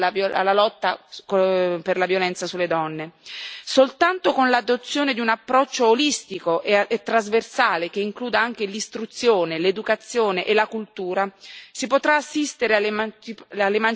Soltanto con l'adozione di un approccio olistico e trasversale, che includa anche l'istruzione, l'educazione e la cultura, si potrà assistere all'emancipazione della donna e al raggiungimento dell'uguaglianza di genere.